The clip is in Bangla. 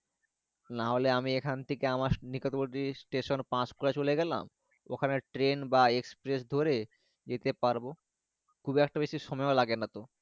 না হলে আমি এখন থাকে আমার নিকটবর্তি station পাঁচ কোয়া চলে গেলাম ওখানে train বা express ধরে যেতে পারবো।